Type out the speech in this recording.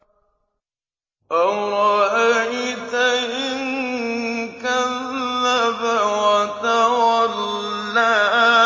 أَرَأَيْتَ إِن كَذَّبَ وَتَوَلَّىٰ